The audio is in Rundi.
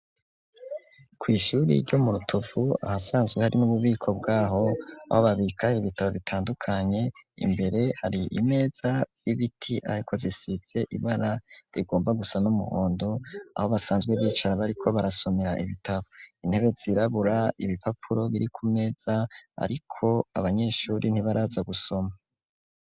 Ku ishuri ryo mu Rutuvu ahasanzwe hari n'ububiko bwaho aho babika ibitabo bitandukanye imbere hari imeza y'ibiti ariko zisize ibara rigomba gusa n'umuhondo aho basanzwe bicara bariko barasomera ibitabo intebe zirabura ibipapuro biri ku meza ariko abanyeshuri ntibaraza gusoma.